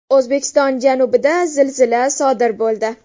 O‘zbekiston janubida zilzila sodir bo‘ldi.